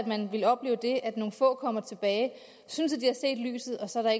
man ikke opleve at nogle få kommer tilbage og synes at de har set lyset og så er